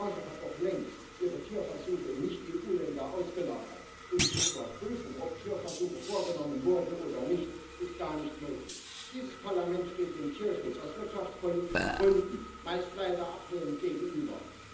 Die Branche hat doch längst ihre Tierversuche in Nicht EU Länder ausgelagert, und die Überprüfung, ob Tierversuche vorgenommen wurden oder nicht, ist gar nicht möglich. Dieses Parlament steht dem Tierschutz aus wirtschaftspolitischen Gründen leider meist ablehnend gegenüber.